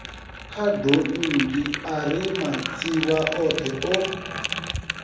khadonngi ari matsivha othe o